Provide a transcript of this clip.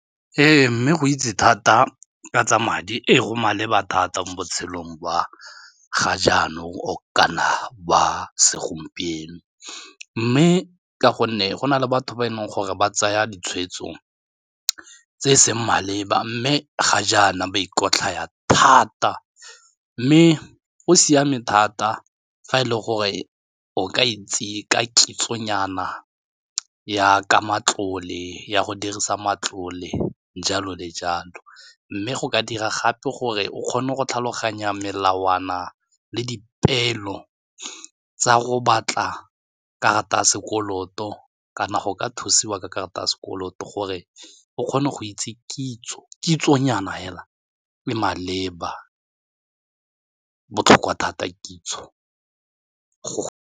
Ee, mme go itse thata ka tsa madi ko go maleba thata mo botshelong jwa ga jaanong o kana ba segompieno mme ka gonne go na le batho ba e leng gore ba tsaya ditshweetso tse e seng maleba mme ga jaana ba ikotlhaya thata mme go siame thata fa e leng gore o ka itse ka kitsonyana ya ka matlole ya go dirisa matlole jalo le jalo mme go ka dira gape gore o kgone go tlhaloganya melawana le dipeelo tsa go batla karata ya sekoloto kana go ka thusiwa ka karata ya sekoloto gore o kgone go itse kitsonyana fela e maleba, botlhokwa thata kitso go.